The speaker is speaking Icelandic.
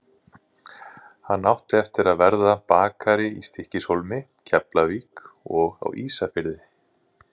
Hann átti eftir að verða bakari í Stykkishólmi, Keflavík og á Ísafirði.